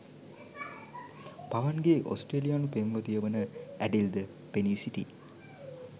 පවන්ගේ ඔස්ට්‍රේලියානු පෙම්වතිය වන ඇඩෙල්ද පෙනී සිටියි